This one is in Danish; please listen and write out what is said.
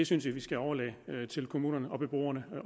synes jeg vi skal overlade til kommunerne og beboerne